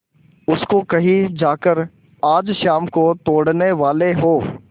उसको कहीं जाकर आज शाम को तोड़ने वाले हों